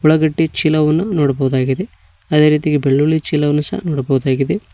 ಉಳ್ಳಾಗಡ್ಡಿ ಚೀಲವನ್ನು ನೋಡ್ಬೋದಾಗಿದೆ ಅದೇರೀತಿಯಾಗಿ ಬೆಳುಳ್ಳಿ ಚೀಲವನ್ನು ಸಹ ನೋಡ್ಬೋದಾಗಿದೆ.